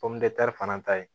fana ta ye